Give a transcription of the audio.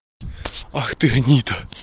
ах ты гнида